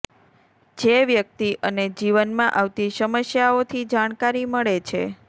જે વ્યક્તિ અને જીવનમાં આવતી સમસ્યાઓથી જાણકારી મળે છે